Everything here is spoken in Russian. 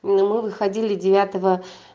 мы выходили девятого